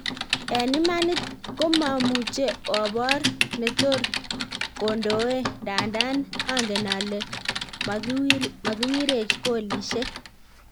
En imanit komamuche, obor ne tor kondoe ndandan angen alen magiwirech goolisiek